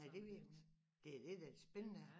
Nej det ved man ikke det er det der er det spændende